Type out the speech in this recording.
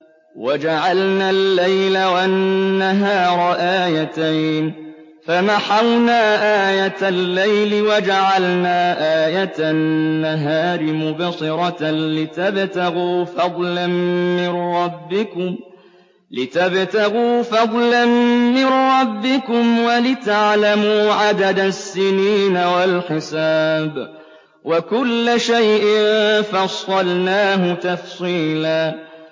وَجَعَلْنَا اللَّيْلَ وَالنَّهَارَ آيَتَيْنِ ۖ فَمَحَوْنَا آيَةَ اللَّيْلِ وَجَعَلْنَا آيَةَ النَّهَارِ مُبْصِرَةً لِّتَبْتَغُوا فَضْلًا مِّن رَّبِّكُمْ وَلِتَعْلَمُوا عَدَدَ السِّنِينَ وَالْحِسَابَ ۚ وَكُلَّ شَيْءٍ فَصَّلْنَاهُ تَفْصِيلًا